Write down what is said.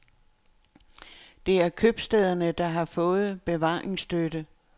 Det er købstæderne, der har fået bevaringsstøtte.